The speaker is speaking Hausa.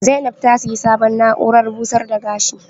Zainab ta siya sabon na'uran busar da gashi